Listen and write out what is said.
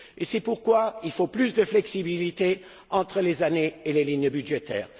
C'est pourquoi il faut plus de flexibilité entre les années et les lignes budgétaires.